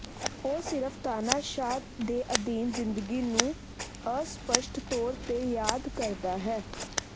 ਉਹ ਸਿਰਫ ਤਾਨਾਸ਼ਾਹ ਦੇ ਅਧੀਨ ਜ਼ਿੰਦਗੀ ਨੂੰ ਅਸਪਸ਼ਟ ਤੌਰ ਤੇ ਯਾਦ ਕਰਦਾ ਹੈ